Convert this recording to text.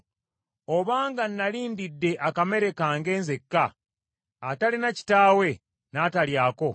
obanga nnali ndidde akamere kange nzekka atalina kitaawe n’atalyako,